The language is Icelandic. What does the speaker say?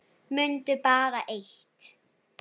Mundu bara eitt.